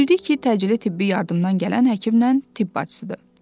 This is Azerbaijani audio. Bildik ki, təcili tibbi yardımdan gələn həkimlə tibb bacısıdır.